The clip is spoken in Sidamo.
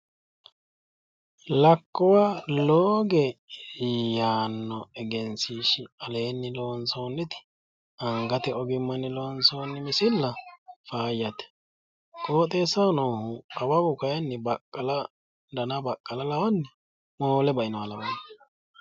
lakkuwa looge yaanno egensiishshi aleenni loonsoonniti angate ogimmanni loonsoonni misilla faayyate qooxeessaho noohu awawu kayinni dana baqqala lawanni moole bainoha lawanno.